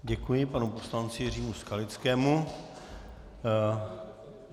Děkuji panu poslanci Jiřímu Skalickému.